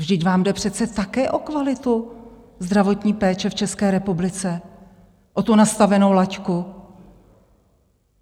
Vždyť vám jde přece také o kvalitu zdravotní péče v České republice, o tu nastavenou laťku.